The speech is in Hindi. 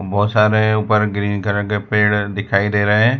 बहोत सारे ऊपर ग्रीन कलर के पेड़ दिखाई दे रहे --